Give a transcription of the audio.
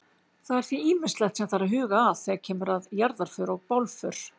Það er því ýmislegt sem þarf að huga að þegar kemur að jarðarför og bálför.